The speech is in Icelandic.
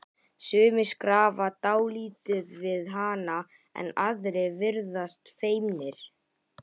Sumir skrafa dálítið við hana en aðrir virðast feimnir.